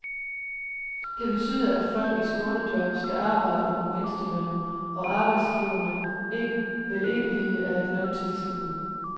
Det betyder, at folk i skånejob skal arbejde under mindstelønnen, og arbejdsgiverne vil ikke vide af løntilskud.